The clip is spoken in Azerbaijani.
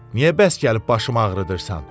Niyə bəs gəlib başımı ağrıdırsan?